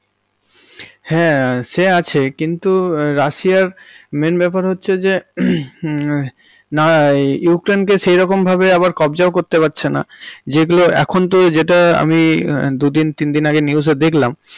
হ্যাঁ সে আছে কিন্তু রাশিয়া এর main ব্যাপার হচ্ছে যে হুম না ইউক্রেইনকে সেরকম ভাবে আবার কব্জাও করতে পারছেনা যেগুলো এখন তো যেটা আমি দুদিন তিনদিন আগে news এ দেখলাম।